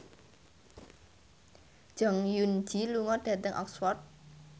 Jong Eun Ji lunga dhateng Oxford